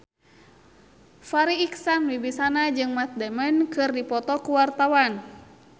Farri Icksan Wibisana jeung Matt Damon keur dipoto ku wartawan